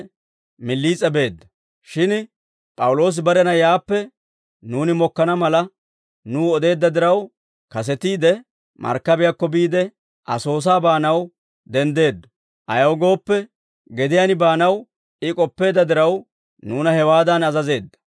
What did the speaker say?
Shin P'awuloosi barena yaappe nuuni mokkana mala, nuw odeedda diraw, kasetiide markkabiyaakko biide, Asoosa baanaw denddeeddo; ayaw gooppe, gediyaan baanaw I k'oppeedda diraw nuuna hewaadan azazeedda.